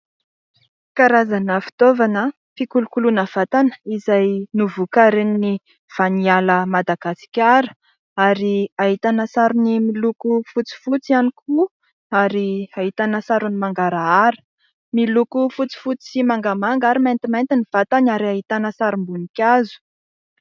Karazana fitaovana fikolokoloana vatana izay novokarin'i Vaniala Madagasikara ary ahitana sarony miloko fotsifotsy ihany koa ary ahitana sarony mangarahara. Miloko fotsifotsy sy mangamanga ary maintimainty ny vatany ary ahitana sarim-boninkazo.